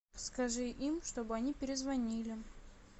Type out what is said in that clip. скажи им чтобы они перезвонили